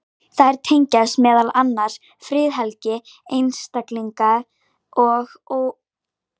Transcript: þær tengjast meðal annars friðhelgi einstaklinga og ófyrirséðum niðurstöðum